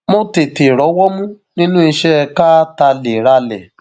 mo tètè rọwọ mú nínú iṣẹ ká talérálẹ